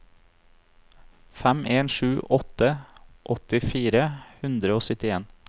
fem en sju åtte åtti fire hundre og syttien